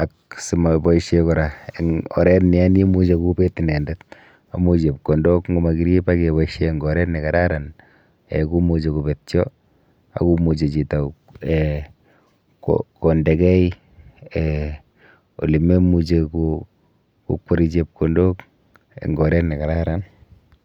ak simoboishe kora eng oret neya nimuche kobet inendet amu chepkondok nkomakirip ak kepoishe eng oret nekararan um komuchi kopetyo ak komuchi chito um kondekei um olememuchi kokweri chepkondok eng oret nekararan.